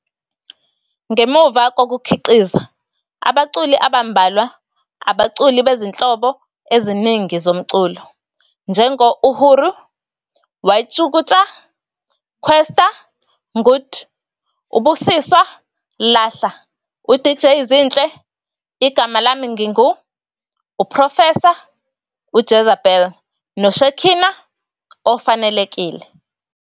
ngemuva kokukhiqiza abaculi abambalwa abaculi bezinhlobo eziningi zomculo, njengo-Uhuru, "Y-Tjukuta, Kwesta, " Ngud, uBusiswa, "Lahla, uDJ Zinhle, "Igama lami ngingu, UProfesa, "uJezebeli, noShekinah, " Ofanelekile.